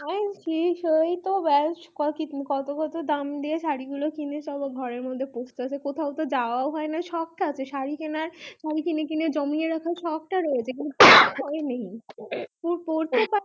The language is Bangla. সেই তো কত কত দাম দিয়ে শাড়ী গুলো কিনে সব ঘরের মধ্যে পচতেছে কোথাও তো যাওয়াও হয়না শখ তা আছে শাড়ী কিনার শাড়ী কিনে কিনে জমিয়ে রাখার শখ তা রয়েছে কিন্তু উপায় নেই পড়তে পারিনা